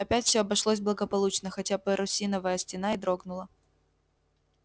опять всё обошлось благополучно хотя парусиновая стена и дрогнула